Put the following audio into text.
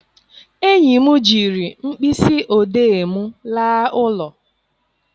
Enyi m jiri mkpịsị odee m laa ụlọ.